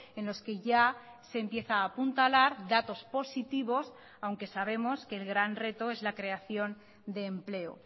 en los que ya se empieza a apuntalar datos positivos aunque sabemos que el gran reto es la creación de empleo